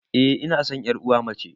Eh ina san yar uwa mace